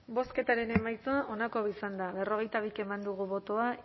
bozketaren emaitza onako izan da berrogeita bi eman dugu bozka